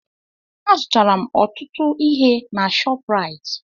Azụtara m ọtụtụ ihe na Shọpraịt.